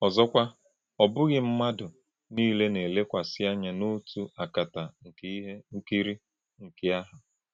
Ọzọ́kwà̄, ọ̀ bụ́ghị̄ ḿmádụ̣ niilē na - èlèkwàsị̄ ànyá̄ n’òtú̄ àkàtá̄ nke íhè̄ nkrìn̄kì̄ àhụ̄.